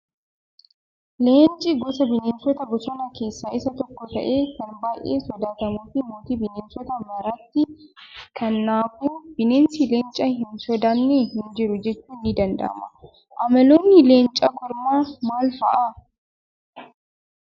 Leenci gosa bineensota bosonaa keessaa Isa tokko ta'ee kan baay'ee sodaatamuu fi mootii bineensota maraatti. Kanaafuu bineensi leenca hin sodaanne hin jiru jechuun ni danda'ama. Amaloonni leenca kormaa maal fa'aa?